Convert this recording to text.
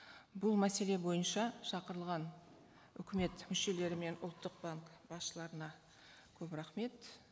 бұл мәселе бойынша шақырылған үкімет мүшелері мен ұлттық банк басшыларына көп рахмет